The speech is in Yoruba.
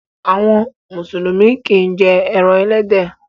Àwọn mùsùlùmí kìí jẹ ẹran ẹlẹ́dẹ̀.